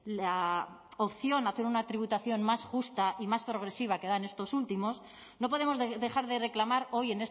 la opción a hacer una tributación más justa y más progresiva que dan estos últimos no podemos dejar de reclamar hoy